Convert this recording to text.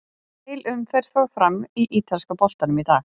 Heil umferð fór fram í ítalska boltanum í dag.